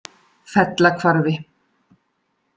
Fellahvarfi